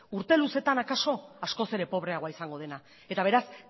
urte luzetan akaso askoz ere pobreagoa izango dena eta beraz